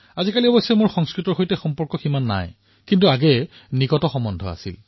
এতিয়া মোৰ অলপ সম্পৰ্ক দূৰ হৈছে যদিও পূৰ্বতে বহু আছিল